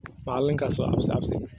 Macalinkas wa cabsi cabsi.